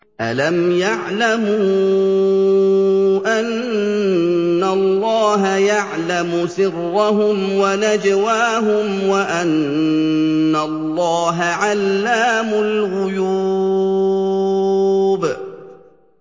أَلَمْ يَعْلَمُوا أَنَّ اللَّهَ يَعْلَمُ سِرَّهُمْ وَنَجْوَاهُمْ وَأَنَّ اللَّهَ عَلَّامُ الْغُيُوبِ